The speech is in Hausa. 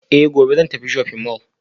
Eh gobe zan tafi shopping mall